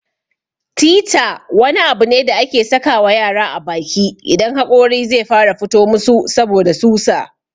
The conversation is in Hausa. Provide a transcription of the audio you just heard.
"Theeter" wani abu ne da ake saka wa yara a baki idan haƙori zai fara fito musu saboda susa.